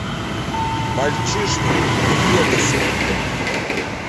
мальчишник в вегасе